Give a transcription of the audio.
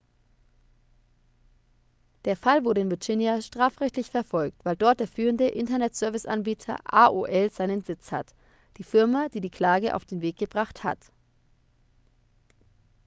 der fall wurde in virginia strafrechtlich verfolgt weil dort der führende internetserviceanbieter aol seinen sitz hat die firma die die klage auf den weg gebracht hat